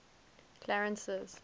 clarence's